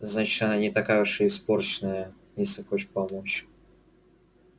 значит она не такая уж испорченная если хочет помочь